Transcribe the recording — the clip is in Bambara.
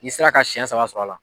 N'i sera ka siyɛn saba sɔrɔ a la.